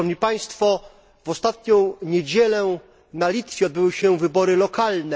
W ostatnią niedzielę na Litwie odbyły się wybory lokalne.